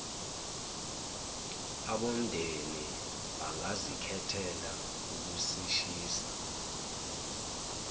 abomndeni bangazikhethela ukusishisa